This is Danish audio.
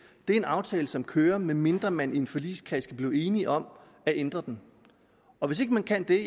det er en aftale som gælder medmindre man i en forligskreds kan blive enige om at ændre den og hvis ikke man kan det